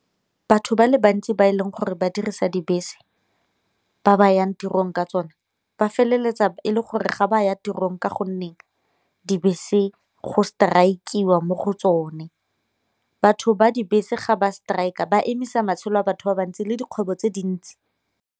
Batho ba le bantsi ba e leng gore ba dirisa dibese ba ba yang tirong ka tsone ba feleletsa e le gore ga ba ya tirong ka gonne dibese go strike-iwa mo go tsone. Batho ba dibese ga ba strike-a ba emisa matshelo a batho ba bantsi le dikgwebo tse dintsi.